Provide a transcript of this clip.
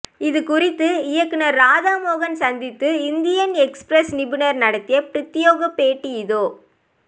இது குறித்து இயக்குநர் ராதா மோகன் சந்தித்து இந்தியன் எக்ஸ்பிரஸ் நிருபர் நடத்திய பிரத்தியேக பேட்டி இதோ